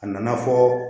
A nana fɔ